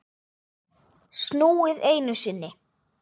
Snúið einu sinni.